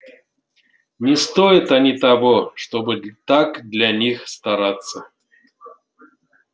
не стоят они того чтобы так для них стараться